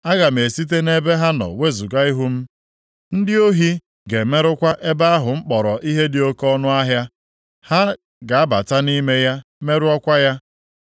Aga m esite nʼebe ha nọ wezuga ihu m ndị ohi ga-emerụkwa ebe ahụ m kpọrọ ihe dị oke ọnụahịa. Ha ga-abata nʼime ya merụọkwa ya.